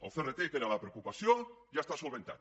el crt que era la preocupació ja està solucionat